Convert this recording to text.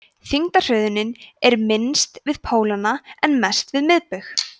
þyngdarhröðunin er minnst við pólana en mest við miðbaug